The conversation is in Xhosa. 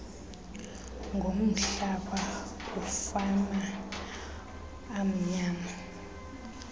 ngomhlaba kumafama amnyama